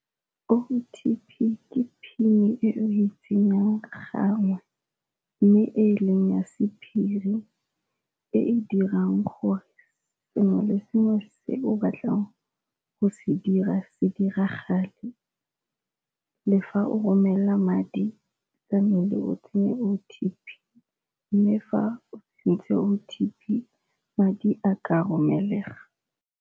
O_T_P ke PIN e o e tsenyang gangwe mme e leng ya sephiri e e dirang gore sengwe le sengwe se o batlang go se dira se diragale, le fa o romela madi tlamehile o tsenye O_T_P. Mme fa o tsentse O_T_P madi a ka romelega.